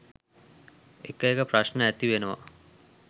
එක එක ප්‍රශ්න ඇති වෙනවනේ.